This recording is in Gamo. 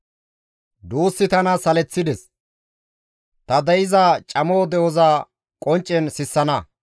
«Duussi tana saleththides; ta de7iza camo de7oza qonccen sissana.